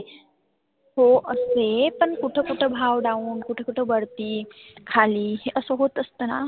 हो असते पण कुठ कुठ भाव लावून कुठ कुठ वरती खाली असं होत असतं ना.